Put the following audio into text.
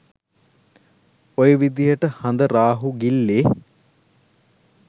ඔය විදහට හඳ රාහු ගිල්ලේ